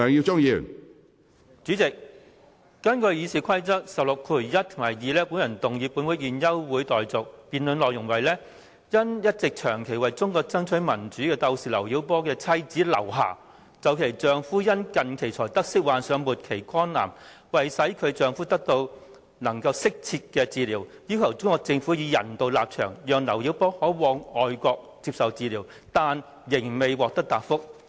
主席，根據《議事規則》第161及2條，我動議本會現即休會待續的議案，議案措辭為："因一直長期為中國爭取民主的鬥士劉曉波的妻子劉霞就其丈夫近期才得悉患上末期肝癌，為使其丈夫能得到適切治療，要求中國政府以人道立場，讓劉曉波可往外國接受治療，但仍未獲得答覆。